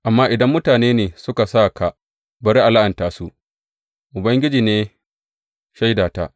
Amma idan mutane ne suka sa ka, bari a la’anta su, Ubangiji ne shaidata.